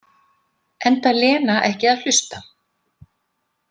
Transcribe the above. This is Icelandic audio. Enda Lena ekki að hlusta.